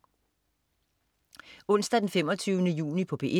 Onsdag den 25. juni - P1: